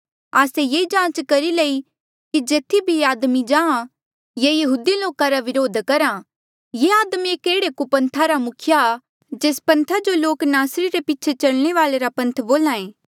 आस्से ये जांच करी लई कि जेथी भी ये आदमी जांहाँ ये यहूदी लोका जो विद्रोह करहा ये आदमी एक एह्ड़े कुपन्था रा मुखिया जेस पन्था जो लोक नासरी रे पीछे चलने वाले रा पन्थ बोल्हा ऐें